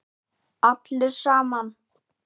Allir saman.